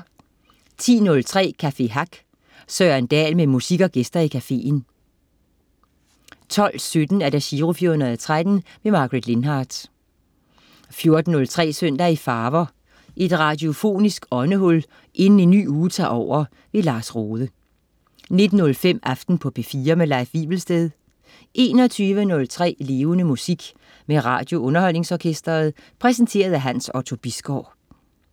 10.03 Café Hack. Søren Dahl med musik og gæster i cafeen 12.17 Giro 413. Margaret Lindhardt 14.03 Søndag i farver. Et radiofonisk åndehul inden en ny uge tager over. Lars Rohde 19.05 Aften på P4. Leif Wivelsted 21.03 Levende Musik. Med RadioUnderholdningsOrkestret. Præsenteret af Hans Otto Bisgaard